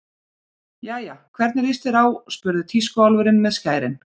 Jæja, hvernig líst þér á spurði tískuálfurinn með skærin.